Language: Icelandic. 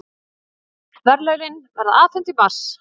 Verðlaunin verða afhent í mars